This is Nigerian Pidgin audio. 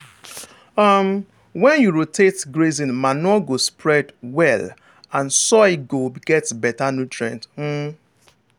um when you rotate grazing manure go spread well and soil go get better nutrient. um